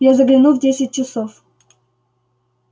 я загляну в десять часов